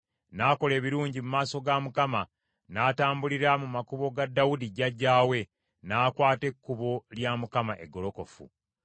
N’akola ebirungi mu maaso ga Mukama , n’atambulira mu makubo ga Dawudi jjajjaawe, n’akwata ekkubo lya Mukama eggolokofu.